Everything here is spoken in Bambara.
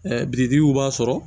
birikiw b'a sɔrɔ